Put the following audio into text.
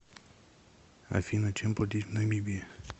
афина чем платить в намибии